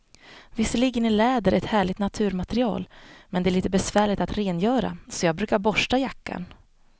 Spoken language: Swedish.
Visserligen är läder ett härligt naturmaterial, men det är lite besvärligt att rengöra, så jag brukar borsta jackan.